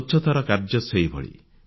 ସ୍ୱଚ୍ଛତାର କାର୍ଯ୍ୟ ସେହିଭଳି